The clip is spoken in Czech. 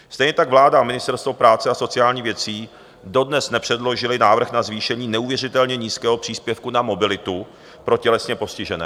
Stejně tak vláda a Ministerstvo práce a sociálních věcí dodnes nepředložily návrh na zvýšení neuvěřitelně nízkého příspěvku na mobilitu pro tělesně postižené.